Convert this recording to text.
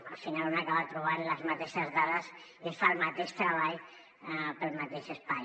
al final un acaba trobant les mateixes dades i es fa el mateix treball per al mateix espai